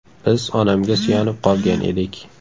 Biz onamga suyanib qolgan edik.